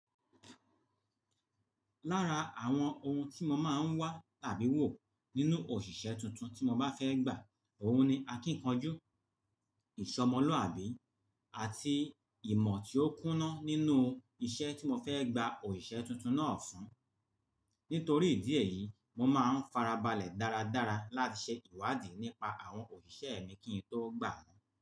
Lára àwọn ohun tí mo máa ń wá tàbí wò nínú òṣìṣẹ́ tuntun tí mo bá fẹ́ gbà, ohun ni akíkanjú, ìsomoluabí, àti ìmọ̀ tí ó kúná nínú iṣẹ́ tí mo fẹ́ gba òṣìṣẹ́ tuntun náà fún. Nítorí ìdí èyí, mo máa ń farabalẹ̀ dáradára láti ṣe ìwádìí nípa àwọn òṣìṣẹ́ mi kí n tó gbà wọ́n.